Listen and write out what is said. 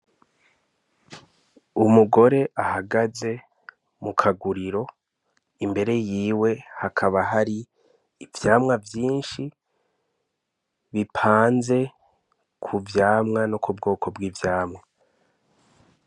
Umugore ahagaze mu kaguriro imbere yiwe hakaba hari ivyamwa vyinshi bipanze ku vyamwa no kubgoko bg'ivyamwa .